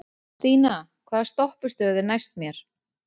Stína, hvaða stoppistöð er næst mér?